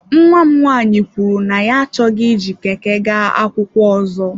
Nnwa m nwanyị kwuru na ya achọghị iji Keke gaa akwụkwọ ọzọ.